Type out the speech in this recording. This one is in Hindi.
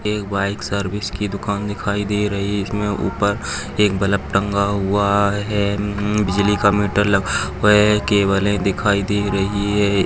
एक बाइक सर्विस की दुकान दिखाई दे रही इसमे ऊपर एक बलब टंगा हुआ है म म बिजली का मिटर लगा हुआ है केबले दिखाई दे रही है।